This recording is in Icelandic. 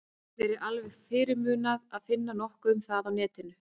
Mér er alveg fyrirmunað að finna nokkuð um það á netinu.